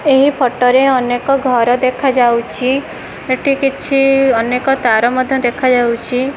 ଏହି ଫଟୋ ରେ ଅନେକ ଘର ଦେଖାଯାଉଛି ଏଠି କିଛି ଅନେକ ତାର ମଧ୍ଯ ଦେଖାଯାଉଛି।